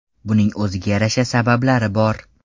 Buning o‘ziga yarasha sabablari bor.